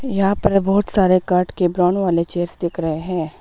यहाँ पर बहुत सारे काठ के ब्राउन वाले चेयर्स दिख रहे हैं।